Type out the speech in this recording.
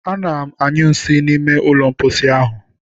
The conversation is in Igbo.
Ana m anyụ nsị n'ime ụlọ mposi ahụ.